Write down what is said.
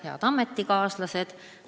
Head ametikaaslased!